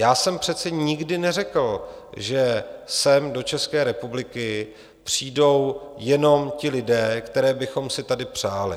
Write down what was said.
Já jsem přece nikdy neřekl, že sem do České republiky přijdou jenom ti lidé, které bychom si tady přáli.